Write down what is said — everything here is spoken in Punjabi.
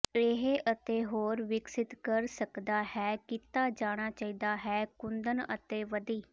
ਇਹ ਅਤੇ ਹੋਰ ਵਿਕਸਿਤ ਕਰ ਸਕਦਾ ਹੈ ਕੀਤਾ ਜਾਣਾ ਚਾਹੀਦਾ ਹੈ ਕੁੰਦਨ ਅਤੇ ਵਧੀ